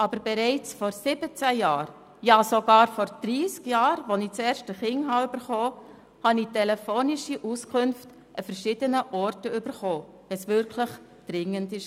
Aber bereits vor 17 Jahren, ja sogar vor 30 Jahren, als ich das erste Kind bekommen hatte, erhielt ich an verschiedenen Orten telefonische Auskünfte, wenn es wirklich dringend war.